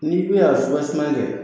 N'i be a siran sinan kɛ